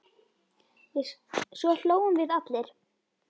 Svo hlógum við allir.